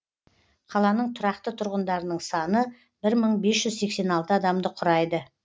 қаланың тұрақты тұрғындарының саны бір мың бес жүз сексен алты адамды құрайды